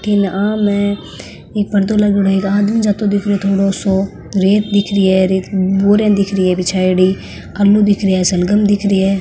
तीन आम है एक पर्दो लागेड़ो है एक आदमी जाते दिखरो है थोड़ो सो रेत दिखरी है रेत में बोरियां दिखरी है बिछाईडी आलू दिख रहा है सलगम दिखरी है।